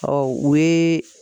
Ɔ u yeee